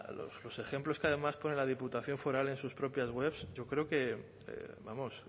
los ejemplos que además pone la diputación foral en sus propias webs yo creo que vamos